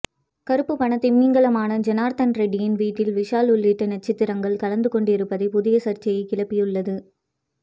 கருப்பு பண திமிங்கலமான ஜனார்த்தன ரெட்டியின் வீட்டில் விஷால் உள்ளிட்ட நட்சத்திரங்கள் கலந்து கொண்டிருப்பது புதிய சர்ச்சையை கிளப்பியுள்ளது